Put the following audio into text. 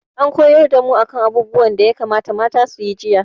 An koyar da mu a kan abubuwan da ya kamata mata su yi jiya